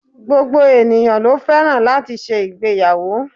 Gbogbo ènìyãn lo fẹ́ràn láti ṣe ìgbéyàwó